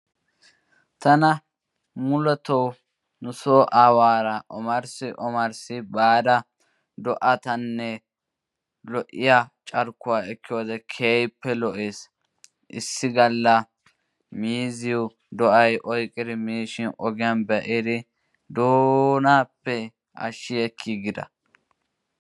Tana mulatto nusoo awaara omaarssi omaarss baada lo'iya carkkuwa ekkiyode keehi lo'ees. Issi galla miizziyo do'ay oyqqidi miishshaan ogiyan be'idi doonaappe ashiekkiigida.